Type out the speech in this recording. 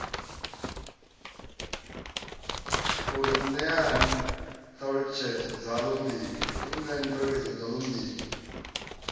ri ṋeeni ṱhalutshedzo dzaḽo mbili